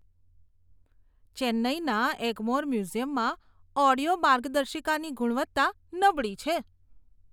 ચેન્નાઈના એગ્મોર મ્યુઝિયમમાં ઓડિયો માર્ગદર્શિકાની ગુણવત્તા નબળી છે.